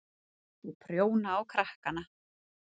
Og prjóna á krakkana.